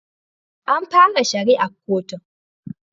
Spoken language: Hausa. An fara shari'ar kotun